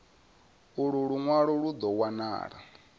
ulu lunwalo lu do wanala